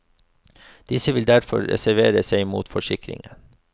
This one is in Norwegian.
Disse vil derfor reservere seg mot forsikringen.